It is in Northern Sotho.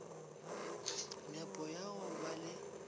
nepo ya go ba le